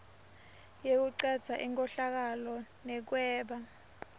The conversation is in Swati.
yekucedza inkhohlakalo nekweba